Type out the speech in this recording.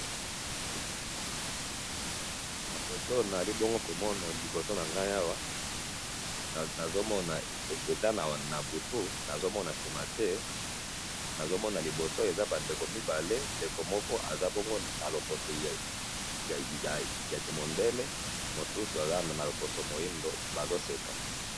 Na foto nazali bongo komona liboso nangayi awa, nazomona eza na butu, nazomona simate, nazomona liboso eza bandeko mibale, ndeko moko aza bongo naloposo yakimundele, mosusu aza naloposo moyindo, bazoseka.